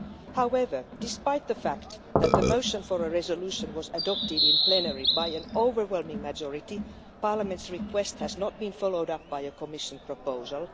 However, despite the fact that the motion for a resolution was adopted in plenary by an overwhelming majority, Parliament's request has not been followed up by a Commission proposal.